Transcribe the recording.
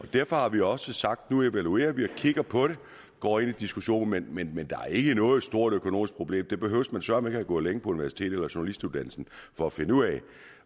og derfor har vi også sagt at nu evaluerer vi og kigger på det går ind i diskussionen men der er ikke noget stort økonomisk problem det behøver man søreme have gået længe på universitet eller journalistuddannelsen for at finde ud af